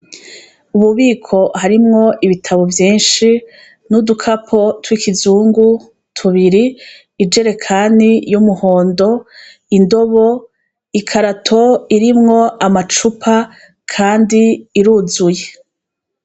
Ububiko harimwo ibitabo vyinshi, n' udukapo twikizungu tubiri, ijerekani y' umuhondo, indobo, ikarato irimwo amacupa kandi iruzuye.